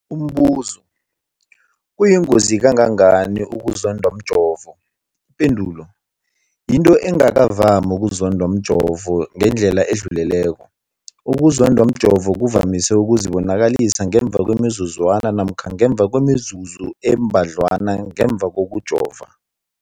Umbuzo, kuyingozi kangangani ukuzondwa mjovo? Ipendulo, yinto engakavami ukuzondwa mjovo ngendlela edluleleko. Ukuzondwa mjovo kuvamise ukuzibonakalisa ngemva kwemizuzwana namkha ngemva kwemizuzu embadlwana ngemva kokujova.